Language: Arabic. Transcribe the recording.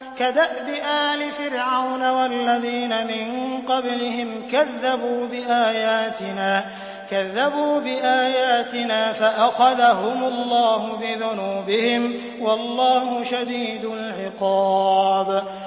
كَدَأْبِ آلِ فِرْعَوْنَ وَالَّذِينَ مِن قَبْلِهِمْ ۚ كَذَّبُوا بِآيَاتِنَا فَأَخَذَهُمُ اللَّهُ بِذُنُوبِهِمْ ۗ وَاللَّهُ شَدِيدُ الْعِقَابِ